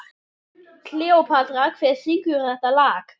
Kleópatra, hver syngur þetta lag?